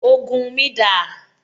Ògùn mi dà?